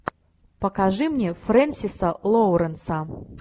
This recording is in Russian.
покажи мне френсиса лоуренса